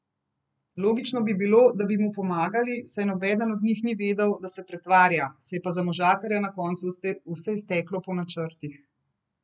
Logično bi bilo, da bi mu pomagali, saj nobeden od njih ni vedel, da se pretvarja, se je pa za možakarja na koncu vse izteklo po načrtih.